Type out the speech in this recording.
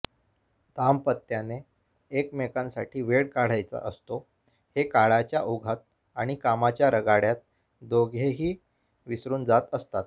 दाम्पत्याने एकमेकांसाठी वेळ काढायचा असतो हे काळाच्या ओघात आणि कामाच्या रगाडय़ात दोघेही विसरून जात असतात